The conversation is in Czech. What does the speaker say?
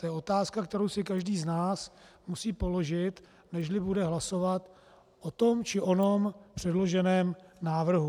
To je otázka, kterou si každý z nás musí položit, nežli bude hlasovat o tom či onom předloženém návrhu.